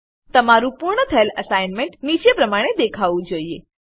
તમારું પૂર્ણ થયેલ એસાઈનમેંટ નીચે આપેલ પ્રમાણે દેખાવું જોઈએ